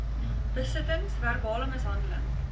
besittings verbale mishandeling